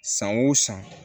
San o san